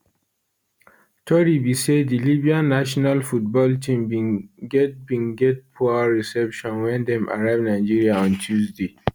tori be say di libyan national football team bin get bin get poor reception wen dem arrive nigeria on tuesday